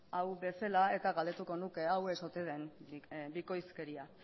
hau bezala galdetuko nuke hau ez ote den bikoizkeria